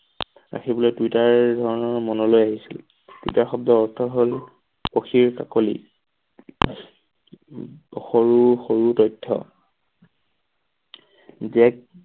আহিবলৈ টুইটাৰ মনলৈ আহিছিল। টুইটাৰ শব্দৰ অৰ্থ হল সখীৰ কাকলি সৰু সৰু তথ্য